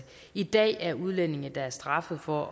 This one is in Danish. i dag er udlændinge der er straffet for